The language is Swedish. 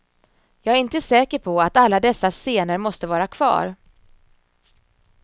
Jag är inte säker på att alla dessa scener måste vara kvar.